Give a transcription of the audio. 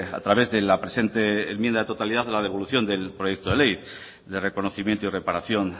a través de la presente enmienda de totalidad la devolución del proyecto de ley de reconocimiento y reparación